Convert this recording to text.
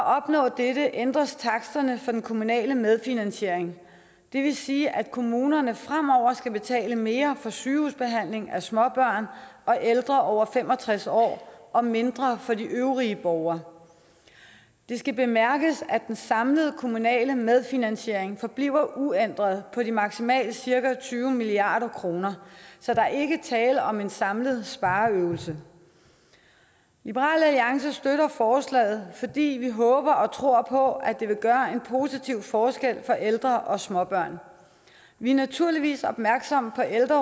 opnå dette ændres taksterne for den kommunale medfinansiering det vil sige at kommunerne fremover skal betale mere for sygehusbehandling af småbørn og ældre over fem og tres år og mindre for de øvrige borgere det skal bemærkes at den samlede kommunale medfinansiering forbliver uændret på de maksimalt cirka tyve milliard kroner så der er ikke tale om en samlet spareøvelse liberal alliance støtter forslaget fordi vi håber og tror på at det vil gøre en positiv forskel for ældre og småbørn vi er naturligvis opmærksom på ældre